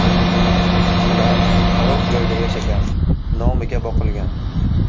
Ular xarob joyda yashagan, nomiga boqilgan.